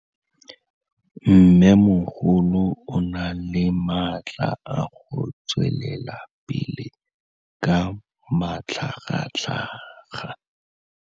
Mmêmogolo o na le matla a go tswelela pele ka matlhagatlhaga.